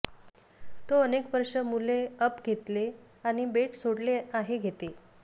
तो अनेक वर्षे मुले अप घेतले आणि बेट सोडले आहे घेते